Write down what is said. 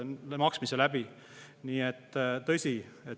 Nii et tõsi.